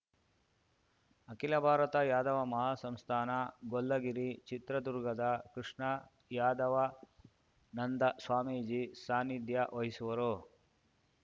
ಅಖಿಲ ಭಾರತ ಯಾದವ ಮಹಾಸಂಸ್ಥಾನ ಗೊಲ್ಲಗಿರಿ ಚಿತ್ರದುರ್ಗದ ಕೃಷ್ಣಯಾದವಾನಂದ ಸ್ವಾಮೀಜಿ ಸಾನ್ನಿಧ್ಯ ವಹಿಸುವರು